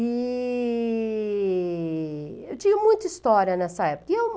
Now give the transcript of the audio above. E eu tinha muita história nessa época.